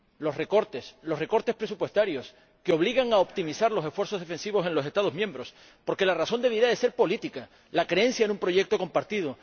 Los recortes, los recortes presupuestarios, que obligan a optimizar los esfuerzos defensivos en los Estados miembros, porque la razón debería ser política la creencia en un proyecto compartido.